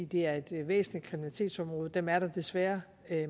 det er et væsentligt kriminalitetsområde og dem er der desværre